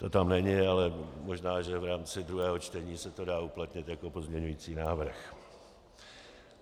To tam není, ale možná, že v rámci druhého čtení se to dá uplatnit jako pozměňovací návrh.